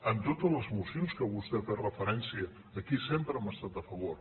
en totes les mocions que vostè hi ha fet referència aquí sempre hi hem estat a favor